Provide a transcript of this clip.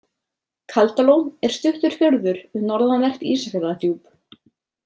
Kaldalón er stuttur fjörður við norðanvert Ísafjarðardjúp.